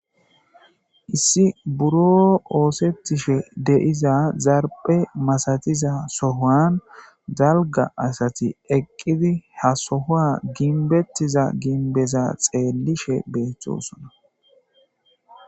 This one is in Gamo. Issi buro oosetishe deiza zarpe masatiza sohan dalga asati eqqidi ha sohoa ginbettiza ginbeza xeellishe beeththosona.